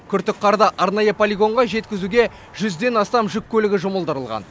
күртік қарды арнайы полигонға жеткізуге жүзден астам жүк көлігі жұмылдырылған